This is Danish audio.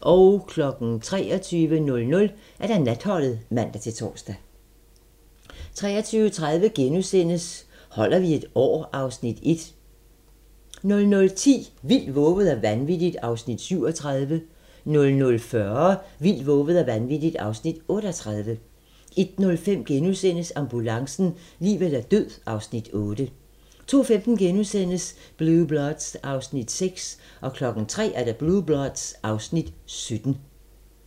23:00: Natholdet (man-tor) 23:30: Holder vi et år? (Afs. 1)* 00:10: Vildt, vovet og vanvittigt (Afs. 37) 00:40: Vildt, vovet og vanvittigt (Afs. 38) 01:05: Ambulancen - liv eller død (Afs. 8)* 02:15: Blue Bloods (Afs. 16)* 03:00: Blue Bloods (Afs. 17)